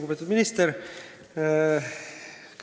Lugupeetud minister!